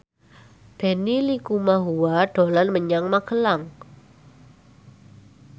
Benny Likumahua dolan menyang Magelang